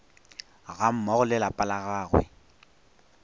gammogo le lapa la gagwe